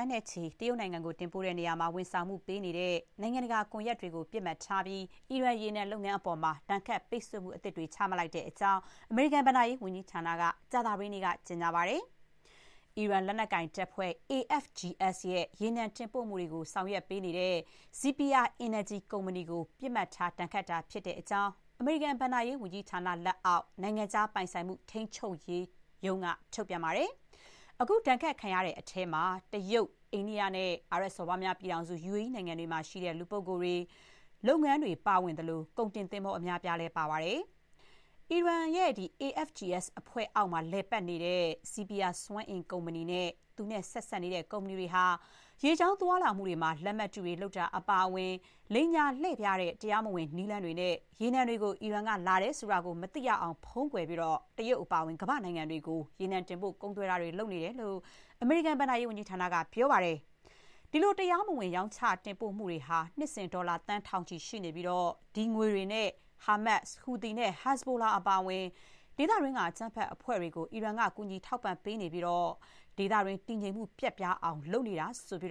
န်းနဲ့ချီ တရုတ်နိုင်ငံကို တင်ပို့ရာမှာ ဝန်ဆောင်မှုပေးနေတဲ့ နိုင်ငံတကာ ကွန်ရက်တွေကို ပစ်မှတ်ထားပြီး အီရန် ရေနံလုပ်ငန်းအပေါ် ဒဏ်ခတ် ပိတ်ဆို့အရေးယူမှုသစ် ချမှတ်လိုက်တဲ့အကြောင်း အမေရိကန် ဘဏ္ဍာရေးဝန်ကြီးဌာနက ကြာသပတေးနေ့က ကြေညာပါတယ်။ အီရန် လက်နက်ကိုင်တပ်ဖွဲ့ AFGS ရဲ့ ရေနံတင်ပို့မှုတွေကို ဆောင်ရွက်ပေးနေတဲ့ ဇီပီယာ Sepehr Energy ကုမ္ပဏီ ကို ပစ်မှတ်ထား ဒဏ်ခတ်တာဖြစ်ကြောင်း အမေရိကန် ဘဏ္ဍာရေးဝန်ကြီးဌာနရဲ့ နိုင်ငံခြား ပိုင်ဆိုင်မှု ထိန်းချုပ်ရေး ဌာနက ထုတ်ပြန်ပါတယ်။ အခု ဒဏ်ခတ် ခံရတဲ့အထဲမှာ တရုတ်၊ အိန္ဒိယနဲ့ အာရပ်စော်ဘွားများ ပြည်ထောင်စု UAE နိုင်ငံတွေမှာ ရှိတဲ့ လူပုဂ္ဂိုလ်တွေ၊ လုပ်ငန်းတွေ ပါသလို၊ ကုန်တင်သင်္ဘော အများအပြားလည်း ပါ ဝင်ပါတယ်။ အီရန် AFGS အဖွဲ့ အောက်မှာ လည်ပတ်နေတဲ့ ဇီပီယာ စွမ်းအင် ကုမ္ပဏီနဲ့ သူနဲ့ ဆက်စပ်နေတဲ့ ကုမ္ပဏီတွေဟာ ရေကြောင်းသွားလာမှုတွေမှာ လက်မှတ်တုတွေ လုပ်တာ အပါအဝင် လိမ်ညာ လှည့်ဖြားတဲ့ တရားမဝင် နည်းလမ်းတွေနဲ့ ရေနံတွေကို အီရန်ကလာတယ်ဆိုတာ မသိရအောင် ဖုံးကွယ်ပြီး တရုတ်အပါအဝင် ကမ္ဘာ့နိုင်ငံတွေကို တင်ပို့ ကုန်သွယ်တာတွေ လုပ်နေတယ်လို့ အမေရိကန် ဘဏ္ဍာရေးဝန်ကြီးဌာနက ပြောပါတယ်။ ဒီလို တရားမဝင် ရောင်းချမှုတွေဟာ နှစ်စဥ် ဒေါ်လာ သန်း ထောင်ချီ ရှိပြီး ဒီငွေတွေနဲ့ ဟာမတ်စ်၊ ဟူသီနဲ့ ဟက်ဇ်ဘလိုလာ အပါအဝင် ဒေသတွင်း အကြမ်းဖက်အဖွဲ့တွေကို ကူညီထောင်ပံ့ပေးနေပြီး ဒေသတွင်း တည်ငြိမ်မှု ပျက်ပြားအောင် အီရန်က လုပ်နေတယ်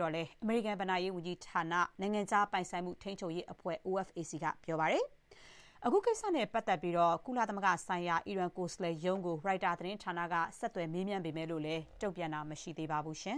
လို့လည်း အမေရိကန် ဘဏ္ဍာရေး ဝန်ကြီးဌာန နိုင်ငံခြား ပိုင်ဆိုင်မှု ထိန်းချုပ်ရေးအဖွဲ့ OFAC က ပြောပါတယ်။ အခုကိစ္စနဲ့ ပတ်သက်ပြီး ကုလသမဂ္ဂဆိုင်ရာ အီရန် ကိုယ်စားလှယ်ရုံးကို ရိုက်တာ သတင်းဌာနက ဆက်သွယ် မေးမြန်းပေမဲ့ တုံ့ပြန်တာ မရှိသေးပါဘူး။